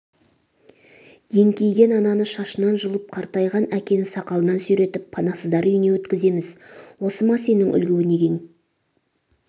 еңкейген ананы шашынан жұлып қартайған әкені сақалынан сүйретіп панасыздар үйіне өткіземіз осы ма сенің үлгі-өнегең